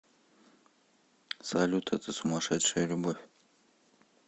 салют это сумасшедшая любовь